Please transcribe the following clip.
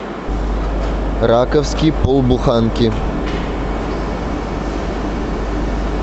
раковский полбуханки